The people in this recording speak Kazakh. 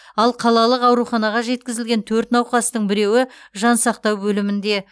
ал қалалық ауруханаға жеткізілген төрт науқастың біреуі жансақтау бөлімінде